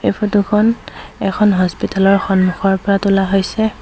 ফটোখন এখন হস্পিটালৰ সন্মুখৰ পৰা তোলা হৈছে।